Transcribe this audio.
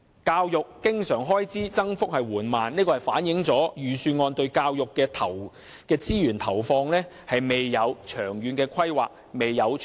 教育經常開支增長緩慢，反映出預算案對教育資源的投放未有長遠的規劃和承擔。